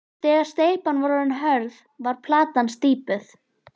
Þegar steypan var orðin hörð var platan slípuð.